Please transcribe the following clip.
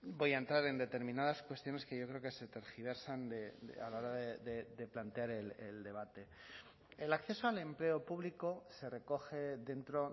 voy a entrar en determinadas cuestiones que yo creo que se tergiversan a la hora de plantear el debate el acceso al empleo público se recoge dentro